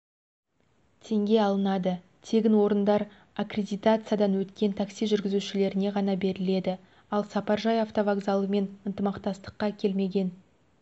теңге алынады тегін орындар аккредитациядан өткен такси жүргізушілеріне ғана беріледі ал сапаржай автовокзалымен ынтымақтастыққа келмеген